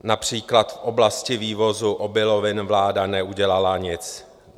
Například v oblasti vývozu obilovin vláda neudělala nic.